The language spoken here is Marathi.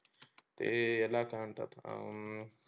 ते याला काय म्हणतात हम्म